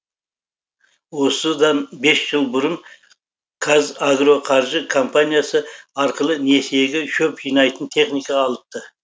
осыдан бес жыл бұрын казагроқаржы компаниясы арқылы несиеге шөп жинайтын техника алыпты